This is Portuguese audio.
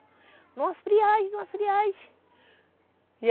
Numa friagem, numa friagem.